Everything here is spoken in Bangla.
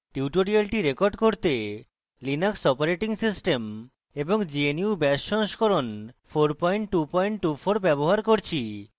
tutorial record করতে